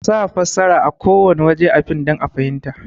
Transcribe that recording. Kasa fassara a kowanne waje a fim dan a fahinmta